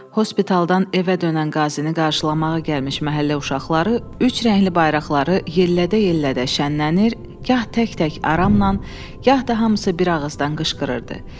Hospitəldan evə dönən qazini qarşılamağa gəlmiş məhəllə uşaqları üç rəngli bayraqları yellədə-yellədə şənlənir, gah tək-tək aramla, gah da hamısı bir ağızdan qışqırırdı.